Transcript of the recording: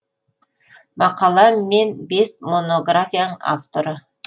мақала мен бес монографияның авторы